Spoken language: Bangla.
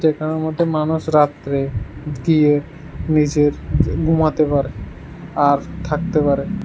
যেখানের মধ্যে মানুষ রাত্রে গিয়ে নিজের গুমোতে পারে আর থাকতে পারে।